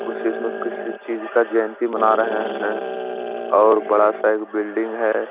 कुछ इसमें किसी चीज का जयंती मना रहे हैं और बड़ा सा एक बिल्डिंग है।